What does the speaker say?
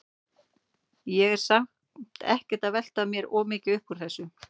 Ég er samt ekkert að velta mér of mikið upp úr þessu.